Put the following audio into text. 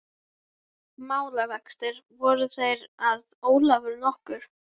Málavextir voru þeir að Ólafur nokkur